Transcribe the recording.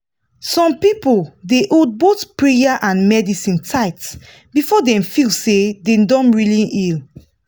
some people dey hold both prayer and medicine tight before dem fit feel say dem don really heal.